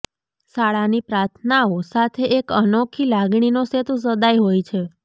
શાળાની પ્રાર્થનાઓ સાથે એક અનોખી લાગણીનો સેતુ સદાય હોય છે